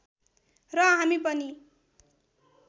र हामी पनि